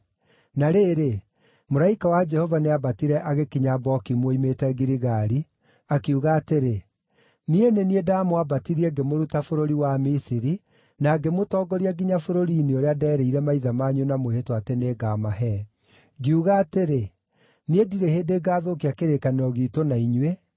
Na rĩrĩ, mũraika wa Jehova nĩambatire agĩkinya Bokimu oimĩte Giligali, akiuga atĩrĩ, “Niĩ nĩ niĩ ndaamwambatirie ngĩmũruta bũrũri wa Misiri na ngĩmũtongoria nginya bũrũri-inĩ ũrĩa ndeerĩire maithe manyu na mwĩhĩtwa atĩ nĩngamahe. Ngiuga atĩrĩ, ‘Niĩ ndirĩ hĩndĩ ngaathũkia kĩrĩkanĩro giitũ na inyuĩ,